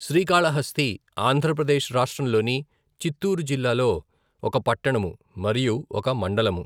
శ్రీకాళహస్తి ఆంధ్ర ప్రదేశ్ రాష్ట్రంలోని చిత్తూరు జిల్లాలో ఒక పట్టణము, మరియు ఒక మండలము.